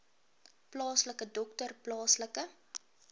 plaaslike dokter plaaslike